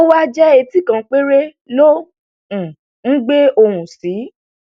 ówá jẹ etí kan péré ló um ngbé ohùn sí